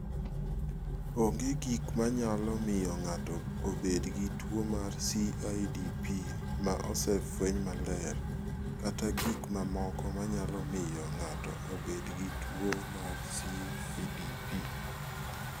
Onge gik ma nyalo miyo ng�ato obed gi tuo mar CIDP ma osefweny maler kata gik mamoko ma nyalo miyo ng�ato obed gi tuo mar CIDP.